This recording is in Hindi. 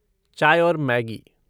चाय और मैगी।